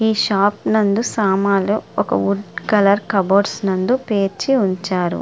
ఈ షాప్ నందు సామాన్లు ఒక వుడ్ కలరు కబోర్డ్ నందు పేర్చి ఉంచారు.